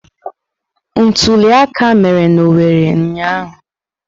Ntuli aka mere n'Owerri ụnyahụ.